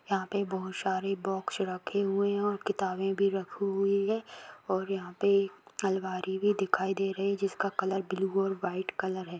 यहां पे बहुत सारे बोक्स रखे हुए है और किताबे भी रखी हुई है और यहाँ पे अलमारी भी दिखाई दे रही है जिसका कलर ब्लू और वाईट कलर हैं।